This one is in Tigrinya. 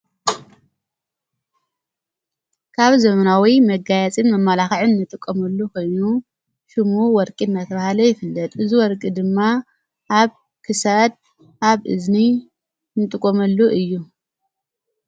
ካብ ዘምናዊይ መጋያፂን መማላኽዕን ንጥቆመሉ ኮኑ ሽሙ ወርቂድ መትብሃለ ይፍለጥ እዝ ወርቂ ድማ ኣብ ክሳድ ኣብ እዝኒ ንጥቖመሉ እዩ::